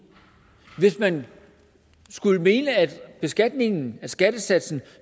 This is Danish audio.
hvis man skulle mene at beskatningen af skattesatsen